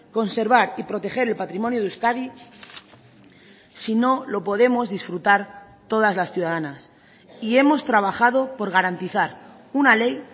conservar y proteger el patrimonio de euskadi si no lo podemos disfrutar todas las ciudadanas y hemos trabajado por garantizar una ley